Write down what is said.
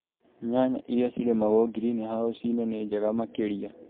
Nyanya iria cirĩmagũo ngirinihaũci-inĩ nĩ njega makĩrĩa